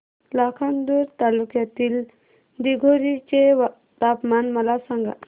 लाखांदूर तालुक्यातील दिघोरी चे तापमान मला सांगा